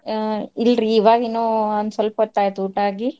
ಆ ಇಲ್ರಿ ಇವಗಿನ್ನೂ ಒಂದ್ ಸ್ವಲ್ಪೊತ್ತ್ ಆಯ್ತು ಊಟಾ ಆಗಿ.